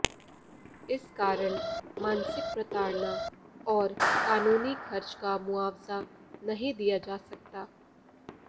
इस कारण मानसिक प्रताड़ना और कानूनी खर्च का मुआवजा नहीं दिया जा सकता